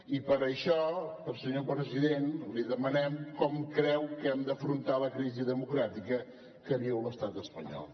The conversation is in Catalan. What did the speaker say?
i per això senyor president li demanem com creu que hem d’afrontar la crisi democràtica que viu l’estat espanyol